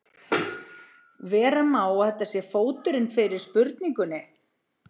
Vera má að þetta sé fóturinn fyrir spurningunni.